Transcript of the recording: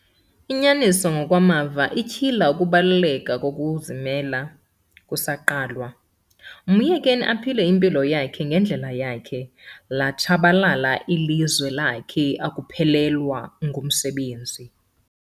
Inyaniso ngokwamava ityhila ukubaluleka kokuzimisela kusaqalwa. myekeni aphile impilo yakhe ngendlela yakhe, latshabalala ilizwe lakhe akuphelelwa ngumsebenzi